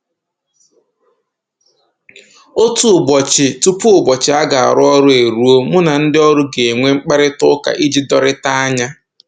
Otu ụbọchị tupu ụbọchị a ga-arụ ọrụ eruo, mụ na ndị ọrụ ga-enwe mkparịta ụka iji dorita anya